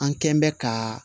An kɛn bɛ ka